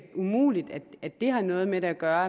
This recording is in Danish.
umuligt at det har noget med det at gøre